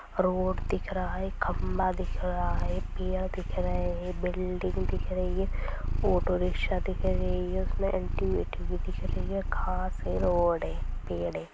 Road दिख रहा है| खम्बा दिख रहा है| पेड़ दिख रहे हैं| बिल्डिंग दिख रही है| ऑटोरिक्शा दिख रही हैं उसमें आटी बैठी हुई दिख रही हैं| खास हैं ऑड है पेड़ हैं।